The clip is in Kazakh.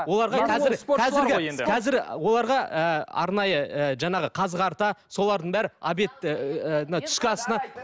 оларға қазір қазіргі қазір оларға ы арнайы ы жаңағы қазы қарта солардың бәрі обед ыыы мына түскі асына